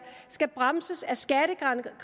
skal bremses af skattegrænser